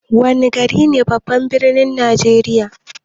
Wana gari ne babban birnin najeriya?